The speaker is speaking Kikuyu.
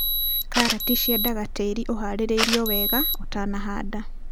Karati ciendaga tĩri ũharĩrĩirio wega ũtanahanda.